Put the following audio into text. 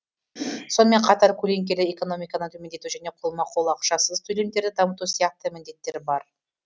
сонымен қатар көлеңкелі экономиканы төмендету және қолма қол ақшасыз төлемдерді дамыту сияқты міндеттер бар